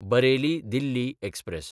Bareilly-Delhi express